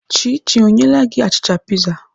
Chichi ọ nyeela gị achịcha piza?